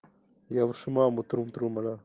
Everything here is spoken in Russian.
я вашу маму трум трум ра